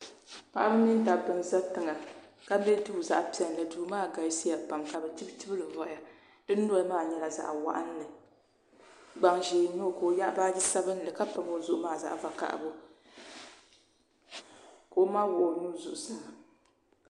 Paɣaba mini dabba n za tiŋa ka be duu zaɣa piɛlli duu maa galisiya pam ka bɛ chibichibili voya di mi noli maa nyɛla zaɣa waɣanli gbaŋ ʒee n nye ka o yaagi o noli ka nyaɣi baaji sabinli ka Pami o zuɣu zaɣa vakahagu ka o ma wuɣi o nuu zuɣu saa.